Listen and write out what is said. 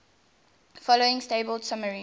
following table summarizes